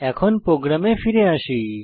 এখন প্রোগ্রামে ফিরে আসি